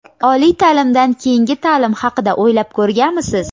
Oliy taʼlimdan keyingi taʼlim haqida o‘ylab ko‘rganmisiz?.